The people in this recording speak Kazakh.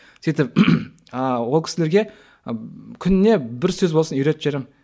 сөйтіп ыыы ол кісілерге күніне бір сөз болсын үйретіп жіберемін